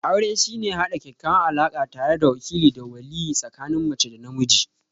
Aure shine haɗa ƙaƙƙawan alaka tare da wakile da waliye tsikanin mace da namiji?